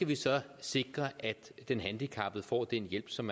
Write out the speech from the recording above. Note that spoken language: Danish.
vi skal sikre at den handicappede får den hjælp som